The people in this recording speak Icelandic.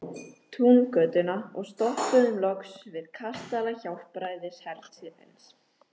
Túngötuna og stoppuðum loks við kastala Hjálpræðishersins.